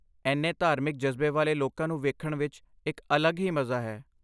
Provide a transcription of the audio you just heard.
ਇੰਨੇ ਧਾਰਮਿਕ ਜਜ਼ਬੇ ਵਾਲੇ ਲੋਕਾਂ ਨੂੰ ਵੇਖਣ ਵਿੱਚ ਇੱਕ ਅਲੱਗ ਹੀ ਮਜਾ ਹੈ।